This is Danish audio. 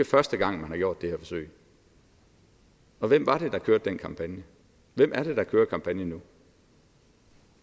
første gang man har gjort det her forsøg og hvem var det der kørte den kampagne og hvem er det der kører kampagnen nu